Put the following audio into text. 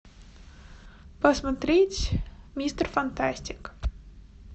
посмотреть мистер фантастик